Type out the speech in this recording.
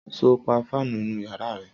Sọ pà fànú ìnú yàrá rẹ?